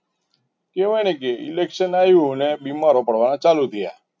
કેવાય ને કે election આવ્યું અને બીમાર પડવાના ચાલુ થયા.